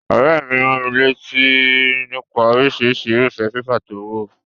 Òréè mi ránmilátí nípa orísirísi irúfé paper to wò